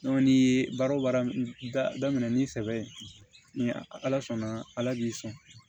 n'i ye baara o baara da daminɛ ni sɛbɛ ye ni ala sɔnna ala b'i sɔn